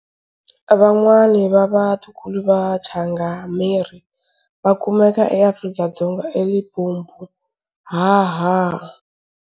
Van'wana vava ntukulu va changameri vakumeka eAfrika-Dzonga eLimpopo haha.